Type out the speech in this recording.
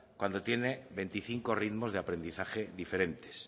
cuando tiene veinticinco ritmos de aprendizaje diferentes